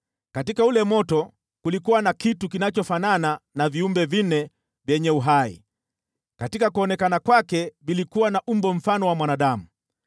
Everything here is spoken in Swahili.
Katika ule moto kulikuwa na kitu kinachofanana na viumbe vinne vyenye uhai. Katika kuonekana kwake vilikuwa na umbo mfano wa mwanadamu,